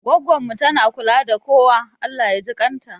Goggon mu tana kula da kowa, Allah jikan ta